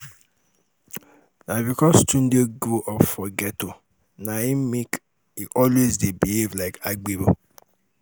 na because tunde grow up for ghetto na im make e always dey behave like agbero